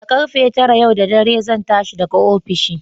Da ƙarfe tara yau da dare zan tashi daga ofishi.